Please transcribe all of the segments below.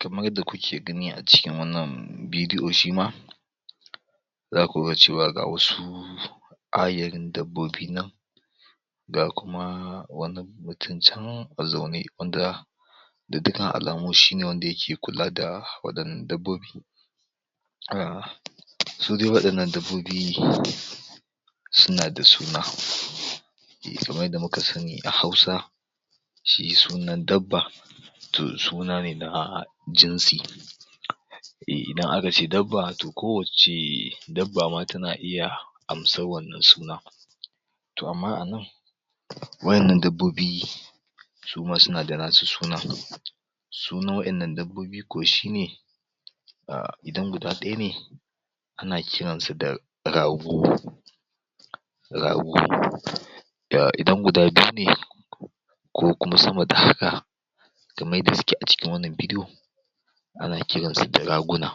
kamar yadda kuke gani a ciki wannan bidi'o shima zaku ga cewa ga wasu ayarin dabbobi nan ga kuma wani mutum can a zaune ga dukkan alamu shine wanda yake kula da waɗannan dabbobi su dai waɗannan dabbobi suna da suna kamar yanda muka sani a hausa shi sunan dabba to suna ne na jinsi idan aka ce dabba to kowace dabba ma tana iya amsar wannan sunan to amma a nan wa'ennan dabbobi suma suna da nasu sunan sunan wa'ennan dabbobi ko shi ne idan guda ɗaya ne ana kiransa da rago rago idan guda biyu ne ko kuma sama da haka kamar yadda suke a cikin wannan bidiyo ana kiransu da raguna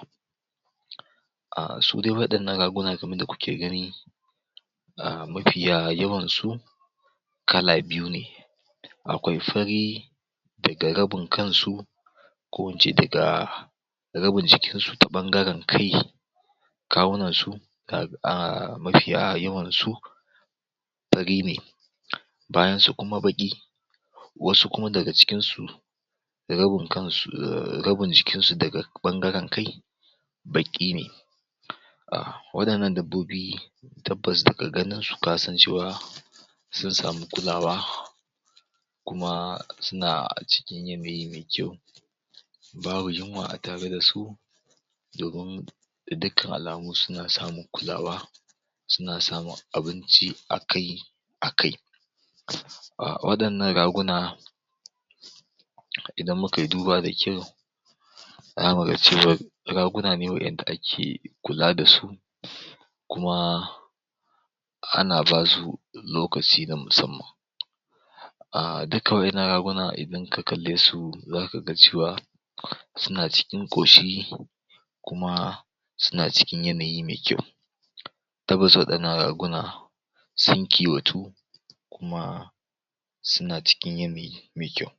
su dai waɗannan raguna kamar yanda kuke gani mafiya yawan su kala biyu ne akwai fari daga rabin kan su ko in ce daga rabin jikin su ta ɓangaren kai kawunan su mafiya yawan su fari ne bayan su kuma baƙi wasu kuma daga cikin su rabin jikin su daga ɓangaren kai baƙi ne waɗannan dabbobi tabbas daga ganin su ka san cewa sun samu kulawa kuma suna a cikin yanayi me kyau babu yunwa a tare da su domin ga dukkan alamu suna samun kulawa suna samun abinci a kai a kai waɗannan raguna idan muka yi duba da kyau zamu ga cewa raguna ne wa'enda ake kula da su kuma ana basu lokaci na musamman dukkan wa'ennan raguna idan ka kalle su zaka ga cewa suna cikin ƙoshi kuma suna cikin yanayi me kyau tabbas waɗannan raguna sun kiwatu kuma suna cikin me kyau